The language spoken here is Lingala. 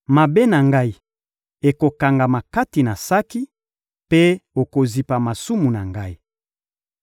Mabe na ngai ekokangama kati na saki, mpe okozipa masumu na ngai.